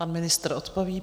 Pan ministr odpoví.